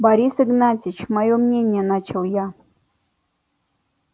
борис игнатьевич моё мнение начал я